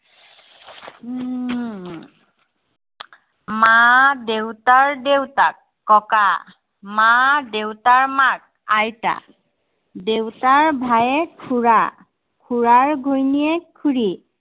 হম মা দেউতাৰ দেউতাক, ককা। মা দেউতাৰ মাক, আইতা। দেউতাৰ ভায়েক খুড়া। খুড়াৰ ঘৈণীয়েক খুড়ী।